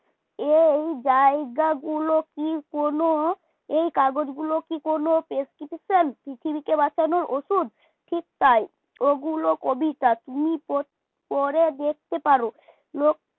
এই জায়গাগুলো কি কোন এই কাগজগুলো কি কোন prescription পৃথিবীকে বাঁচানোর ওষুধ ঠিক তাই ওগুলো কবিতা তুমি পড় পড়ে দেখতে পারো লোক